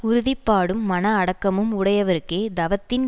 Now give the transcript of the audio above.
உறுதிப்பாடும் மன அடக்கமும் உடையவருக்கே தவத்தின்